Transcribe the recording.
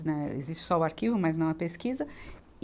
Né, existe só o arquivo, mas não a pesquisa.